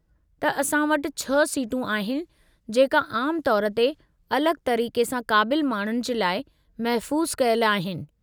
त असां वटि छह सीटूं आहिनि जेका आम तौरु ते अलगि॒ तरीक़े सां क़ाबिलु माण्हुनि जे लाइ महफ़ूज़ु कयलु आहिनि।